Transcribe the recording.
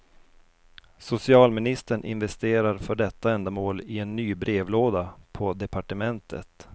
Socialministern investerar för detta ändamål i en ny brevlåda på departementet.